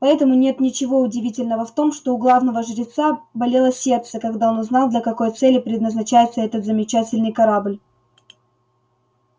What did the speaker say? поэтому нет ничего удивительного в том что у главного жреца болело сердце когда он узнал для какой цели предназначается этот замечательный корабль